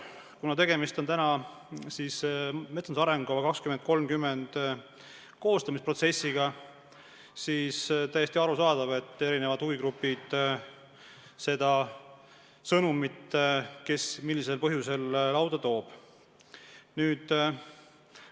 Kuna praegu käib metsanduse arengukava 2030 koostamise protsess, siis on täiesti arusaadav, et eri huvigruppidest igaüks toob esile oma sõnumit.